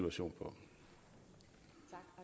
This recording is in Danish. og syv